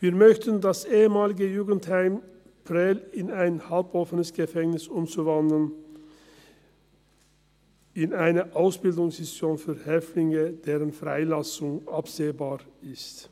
Wir möchten das ehemalige Jugendheim Prêles in ein halboffenes Gefängnis umwandeln, in eine Ausbildungsinstitution für Häftlinge, deren Freilassung absehbar ist.